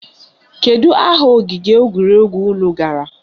Kedu aha ogige egwuregwu unu gara?